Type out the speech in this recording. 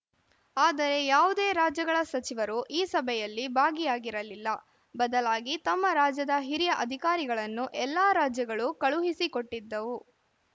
ಆದರೆ ಯಾವುದೇ ರಾಜ್ಯಗಳ ಸಚಿವರು ಈ ಸಭೆಯಲ್ಲಿ ಭಾಗಿಯಾಗಿರಲಿಲ್ಲ ಬದಲಾಗಿ ತಮ್ಮ ರಾಜ್ಯದ ಹಿರಿಯ ಅಧಿಕಾರಿಗಳನ್ನು ಎಲ್ಲಾ ರಾಜ್ಯಗಳು ಕಳುಹಿಸಿಕೊಟ್ಟಿದ್ದವು